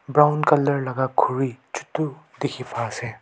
brown color laga khuri chutu dikhi pai ase.